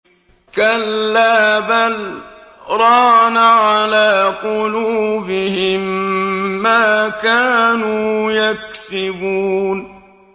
كَلَّا ۖ بَلْ ۜ رَانَ عَلَىٰ قُلُوبِهِم مَّا كَانُوا يَكْسِبُونَ